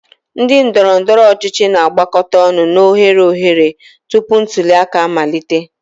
Ndị ndoro-ndoro ochichi na-agbakọta ọnụ na oghere oghere tupu ntuli aka amalite.